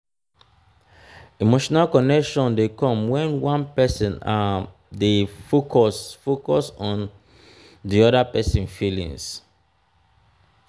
um emotional connection de come when one person um de focus focus on di other persin feelings